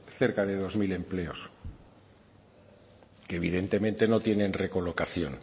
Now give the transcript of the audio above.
cerca dos mil empleos que evidentemente no tienen recolocación